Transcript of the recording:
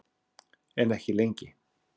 En ekki lengi.